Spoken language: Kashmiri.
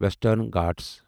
ویسٹرن گھاٹز